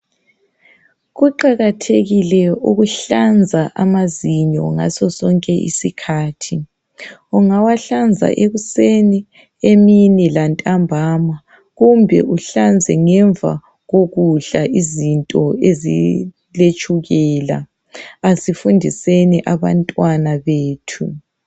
Kuqakathekile ukuhlanza amazinyo ngaso sonke isikhathi .Ungawahlanza ekuseni , emini lantambama kumbe uhlanze ngemva kokudla izinto eziletshukela. Asifundiseni abantwana bethu.